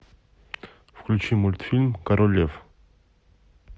включи мультфильм король лев